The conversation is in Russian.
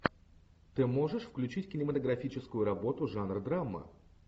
ты можешь включить кинематографическую работу жанр драма